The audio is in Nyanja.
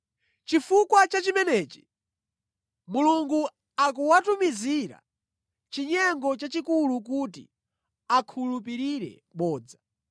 Chifukwa cha chimenechi, Mulungu akuwatumizira chinyengo chachikulu kuti akhulupirire bodza.